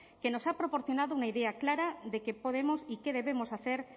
que nos ha proporcionado una idea clara de qué podemos y qué debemos hacer